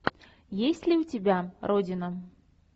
есть ли у тебя родина